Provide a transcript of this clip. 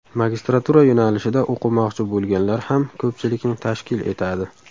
Magistratura yo‘nalishida o‘qimoqchi bo‘lganlar ham ko‘pchilikni tashkil etadi.